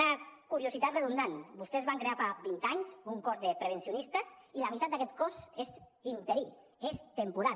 una curiositat redundant vostès van crear fa vint anys un cos de prevencionistes i la mitat d’aquest cos és interí és temporal